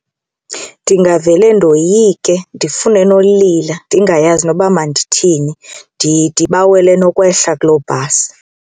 Ndingavele ndoyike ndifune nolila ndingayazi noba mandithini ndibawele nokwehla kuloo bhasi.